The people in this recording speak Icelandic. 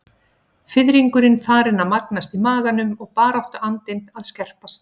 Fiðringurinn farinn að magnast í maganum og baráttuandinn að að skerpast.